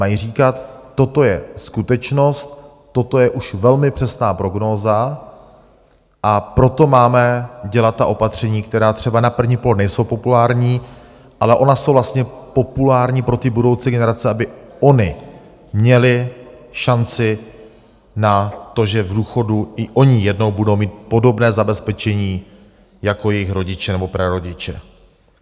Mají říkat, toto je skutečnost, toto je už velmi přesná prognóza, a proto máme dělat ta opatření, která třeba na první pohled nejsou populární, ale ona jsou vlastně populární pro ty budoucí generace, aby ony měly šanci na to, že v důchodu i oni jednou budou mít podobné zabezpečení jako jejich rodiče nebo prarodiče.